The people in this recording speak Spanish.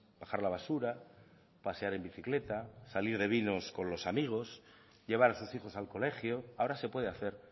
bajar la basura pasear en bicicleta salir de vinos con los amigos llevar a sus hijos al colegio ahora se puede hacer